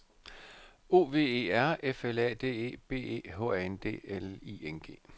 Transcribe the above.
O V E R F L A D E B E H A N D L I N G